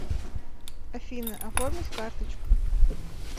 афина оформить карточку